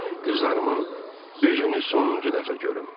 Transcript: Qızlarımın üzünü sonuncu dəfə görüm.